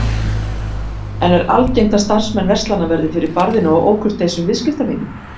En er algengt að starfsmenn verslana verði fyrir barðinu á ókurteisum viðskiptavinum?